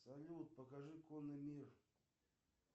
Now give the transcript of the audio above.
салют покажи конный мир